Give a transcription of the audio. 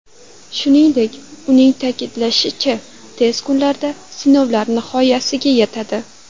Shuningdek, uning ta’kidlashicha, tez kunlarda sinovlar nihoyasiga yetadi.